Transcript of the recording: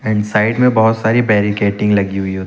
end side में बहुत सारी बैरिकेडिंग लगी हुई होती--